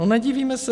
No, nedivíme se.